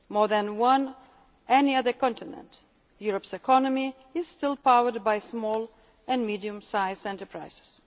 world. More than on any other continent, Europe's economy is still powered by small and medium sized enterprises.